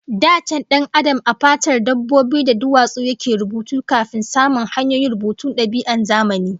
Da can Dan Adam a fatar dabbobi da duwatsu yake rubutu kafin samun hanyoyin rubutu da dab'i na zamani